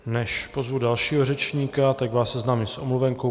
Než pozvu dalšího řečníka, tak vás seznámím s omluvenkou.